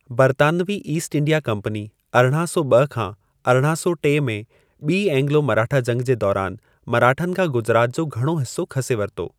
बर्तानवी East India Company अरिड़ा सौ ॿ खां अरिड़ा सौ टे में ॿी ऐंगलो मराठा जंगि जे दौरानि मराठनि खां गुजरात जो घणो हिसो खसे वरितो।